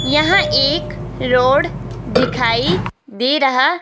यहां एक रोड दिखाई दे रहा--